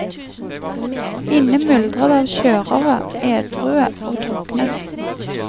Inne myldrer det av kjørere, edrue og drukne.